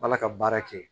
Ala ka baara kɛ